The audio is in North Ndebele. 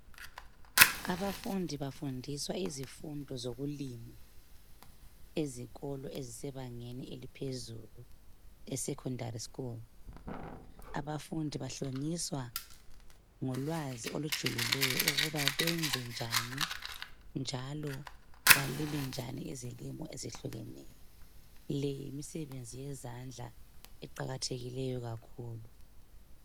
Abafundi bafundiswa izifundo zokulima ezikolo ezisebangeni eliphezulu (esekhondari skulu). Abafundi bahlonyiswa ngolwazi okujulileyo ukuba benze njani, njalo balime njani izilimo ezehlukeneyo. Le yisisebenzi yezandla eqakathekileyo kakhulu.